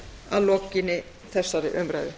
að lokinni þessari umræðu